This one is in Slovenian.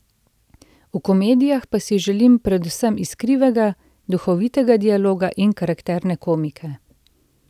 V komedijah pa si želim predvsem iskrivega, duhovitega dialoga in karakterne komike.